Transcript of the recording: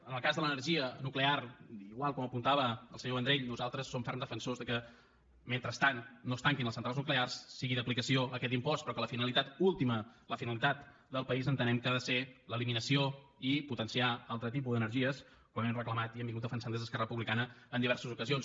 en el cas de l’energia nuclear igual com apuntava el senyor vendrell nosaltres som ferms defensors que mentre no es tanquin les centrals nuclears sigui d’aplicació aquest impost però que la finalitat última la finalitat del país entenem que ha de ser l’eliminació i potenciar altre tipus d’energies com hem reclamat i hem defensat des d’esquerra republicana en diverses ocasions